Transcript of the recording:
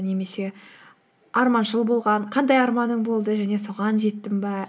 немесе арманшыл болған қандай арманың болды және соған жеттің бе